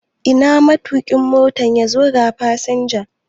Ina matuƙin Motan? yazo ga fasinja